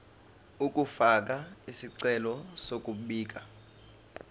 ukufaka isicelo sokubika